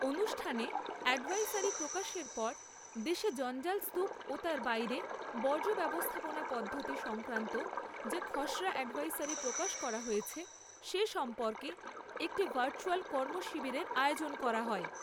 অনুষ্ঠানে এ্যডভাইসারি প্রকাশের পর দেশে জঞ্জাল স্তুপ ও তার বাইরে বর্জ্য ব্যবস্থাপনা পদ্ধতি সংক্রান্ত যে খসড়া এ্যডভাইসারি প্রকাশ করা হয়েছে, সে সম্পর্কে একটি ভার্চ্যুয়াল কর্মশিবিরের আয়োজন করা হয়।